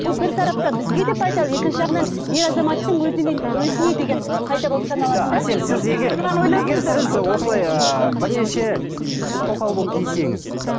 бұл бір тараптан бізге де пайдалы екінші жағынан ер азаматтың өзіне өзіне деген пайда болып саналады да егер сіз осылай ыыы бірнеше тоқал болып тисеңіз